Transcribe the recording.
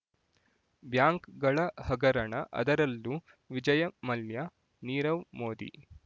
ಬ್ಯಾಂಕ್‌ಗಳ ಹಗರಣ ಅದರಲ್ಲೂ ವಿಜಯ್ ಮಲ್ಯ ನೀರವ್ ಮೋದಿ